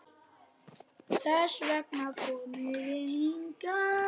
Þess vegna komum við hingað.